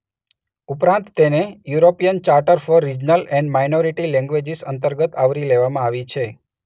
ઉપરાંત તેને European charter for regional and minority languages અંતર્ગત આવરી લેવામાં આવી છે.